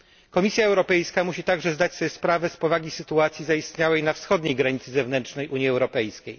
Komisja Europejska musi także zdać sobie sprawę z powagi sytuacji zaistniałej na wschodniej granicy zewnętrznej Unii Europejskiej.